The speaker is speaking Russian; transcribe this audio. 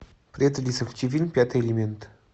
привет алиса включи фильм пятый элемент